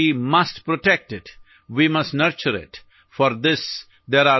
നമ്മുടെ മാനസികാരോഗ്യത്തെക്കുറിച്ചു മനസിലാക്കേണ്ടതു വളരെ പ്രാധാന്യമർഹിക്കുന്നു